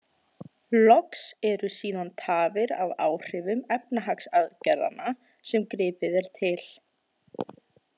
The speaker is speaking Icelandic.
Loks eru síðan tafir af áhrifum efnahagsaðgerðanna sem gripið er til.